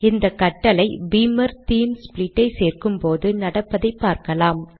இந்த கட்டளை Beamer theme split ஐ சேர்க்கும்போது நடப்பதை பார்க்கலாம்